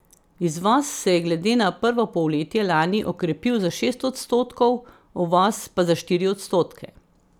Izvoz se je glede na prvo polletje lani okrepil za šest odstotkov, uvoz pa za štiri odstotke.